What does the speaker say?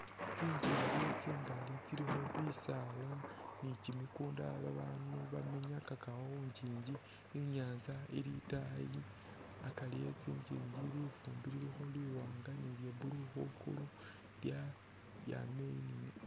Tsingingi tsingaali tsilikho bisaala ni kimikunda babaandu bamenyakakakho khu ngiingi. I'nyaanza ili itaayi akari eh tsingiingi lifuumbi lilikho liwaanga ni lya blue khwiguulu lya, lyaama eyi ni neyi.